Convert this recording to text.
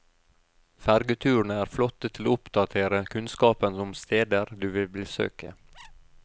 Fergeturene er flotte til å oppdatere kunnskapen om steder du vil besøke.